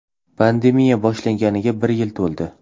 Pandemiya boshlanganiga bir yil to‘ldi.